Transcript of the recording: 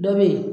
Dɔ be yen